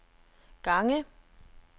gange